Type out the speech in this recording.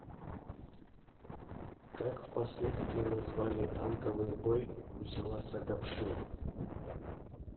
как в последствии назвали танковый бой у села сагопши